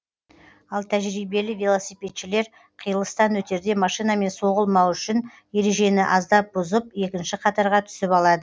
ал тәжірибелі велосипедшілер қиылыстан өтерде машинамен соғылмауы үшін ережені аздап бұзып екінші қатарға түсіп алады